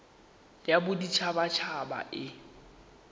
ya bodit habat haba e